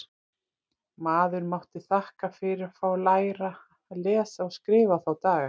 Maður mátti þakka fyrir að fá að læra að lesa og skrifa í þá daga.